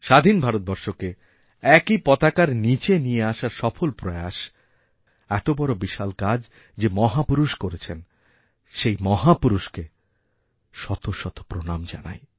স্বাধীন ভারতবর্ষকে একই পতাকার নীচে নিয়ে আসার সফল প্রয়াস এতবড়বিশাল কাজ যে মহাপুরুষ করেছেন সেই মহাপুরুষকে শত শত প্রণাম জানাই